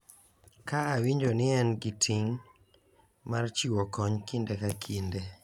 Ka awinjo ni en gi ting’ mar chiwo kony kinde ka kinde,